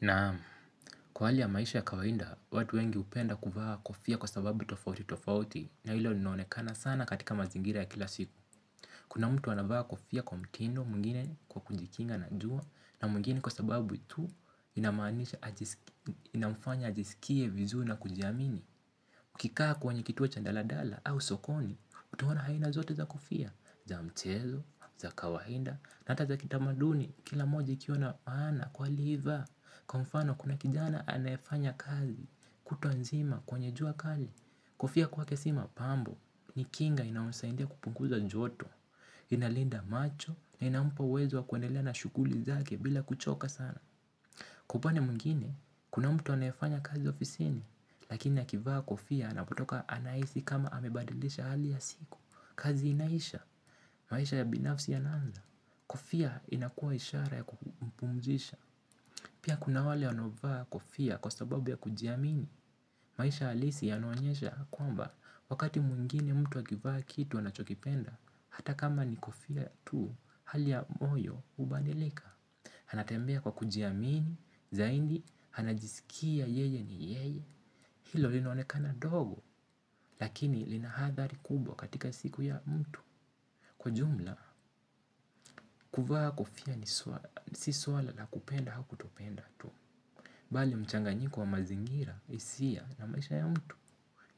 Naamu, kwa hali ya maisha ya kawainda, watu wengi upenda kuvaa kofia kwa sababu tofauti tofauti na hilo linaonekana sana katika mazingira ya kila siku. Kuna mtu anavaa kofia kwa mtindo mwingine kwa kujikinga na jua na mwingine kwa sababu tu inamfanya ajisikie vizuri na kujiamini. Kikaa kwenye kituo cha ndaladala au sokoni, utaona aina zote za kofia, za mchezo, za kawahinda, nata za kitamaduni, kila moja ikiww naana kwa aliyevaa, kwa mfano kuna kijana anayefanya kazi, kutwa nzima kwenye jua kali, kofia kwake si mapambo, ni kinga inayomsaindia kupunguza joto, inalinda macho, inampa uwezo wa kuendelea na shukuli zake bila kuchoka sana. Kwa upande mwingine, kuna mtu anaefanya kazi ofisini, lakini akivaa kofia anapotoka anaisi kama amebadilisha hali ya siku. Kazi inaisha, maisha ya binafsi yananza, kofia inakua ishara ya kumpumzisha. Pia kuna wale wanaovaa kofia kwa sababu ya kujiamini, maisha alisi yanaonyesha kwamba wakati mwingine mtu akivaa kitu anachokipenda, hata kama ni kofia tu hali ya moyo ubadilika. Anatembea kwa kujiamini, zaindi, hanajisikia yeye ni yeye. Hilo linoanekana dogo, lakini lina hathari kubwa katika siku ya mtu. Kwa jumla, kuvaa kofia ni si suala la kupenda hau kutopenda tu. Bali mchanganyiko wa mazingira isia na maisha ya mtu.